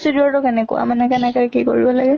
cedure টো কেনেকুৱা মানে কেনেকে কি কৰিব লাগে?